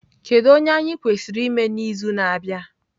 Kedu onye anyị kwesịrị ime n'izu na-abịa?